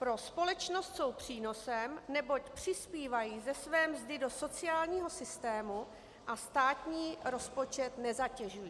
Pro společnost jsou přínosem, neboť přispívají ze své mzdy do sociálního systému a státní rozpočet nezatěžují.